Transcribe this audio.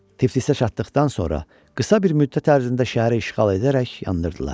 Tiflisə çatdıqdan sonra qısa bir müddət ərzində şəhəri işğal edərək yandırdılar.